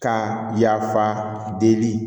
Ka yafa deli